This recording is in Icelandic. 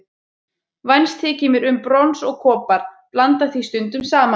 Vænst þykir mér um brons og kopar, blanda því stundum saman.